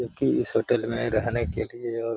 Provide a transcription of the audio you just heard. क्योंकि इस होटल में रहने के लिए और --